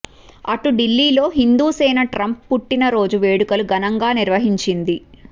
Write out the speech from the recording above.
అటు ఢిల్లీలో హిందూసేన ట్రంప్ పుట్టిన రోజు వేడుకలు ఘనంగా నిర్వహించింది